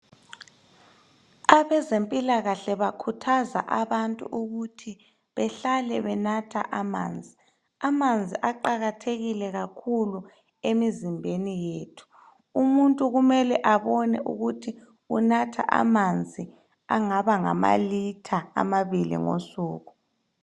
Abezempilakahle bakhuthaza abantu ukuthi behlale benatha amanzi. Amanzi aqakathekile kakhulu emizimbeni yethu. Umuntu kumele abone ukuthi unatha amanzi angaba ngamalitha amabili ngosuku.